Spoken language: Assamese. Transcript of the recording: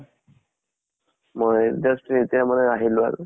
মই just এতিয়া মানে আহলো আৰু।